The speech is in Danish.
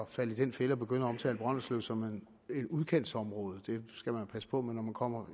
falde i den fælde at begynde at omtale brønderslev som et udkantsområde det skal man jo passe på med når man kommer